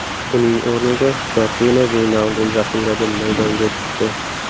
Uning o‘rniga Jorjino Veynaldum zaxiradan maydonga tushdi.